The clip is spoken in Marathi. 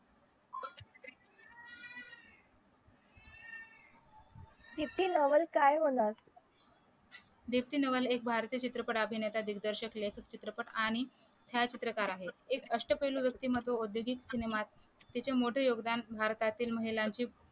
दीप्ती नवल काय होणार दीप्ती नवल एक भारतीय चित्रपट अभिनेता दिग्दर्शक लेखक चित्रपट आणि छायाचित्रकार आहे एक अष्टपैलू व्यक्तिमत्व औद्योगिक सिनेमात तिचे मोठे योगदान भारतातील महिलांचे